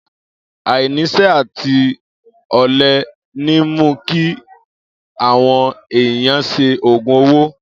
Ainisẹ àtí ọlẹ ni mú ki àwon ẹyàn sẹ ògún òwó.